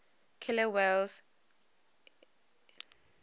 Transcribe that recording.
killer whales imitating